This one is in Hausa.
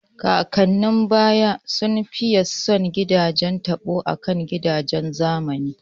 Kakannin baya sun fiye son gidajen taɓo akan gidajen zamani